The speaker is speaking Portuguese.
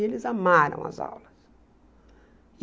E eles amaram as aulas.